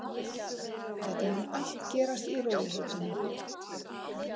Þetta mun allt gerast í rólegheitunum.